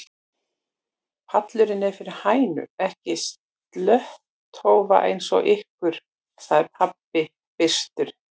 Pallurinn er fyrir hænur, ekki slöttólfa eins og ykkur, sagði pabbi byrstur.